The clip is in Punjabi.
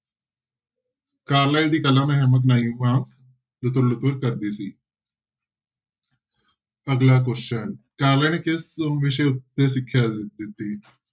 ਕਾਰਲਾਈਲ ਦੀ ਕਲਮ ਕਰਦੇ ਸੀ ਅਗਲਾ question ਕਾਰਲਾਈਲ ਕਿਸ ਵਿਸ਼ੇ ਉੱਤੇ ਸਿੱਖਿਆ ਦਿੰਦੇ।